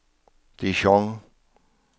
Dijon